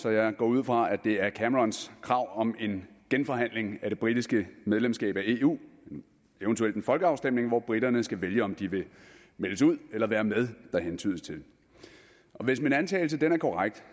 så jeg går ud fra at det er camerons krav om en genforhandling af det britiske medlemskab af eu eventuelt en folkeafstemning hvor briterne skal vælge om de vil meldes ud eller være med der hentydes til og hvis min antagelse er korrekt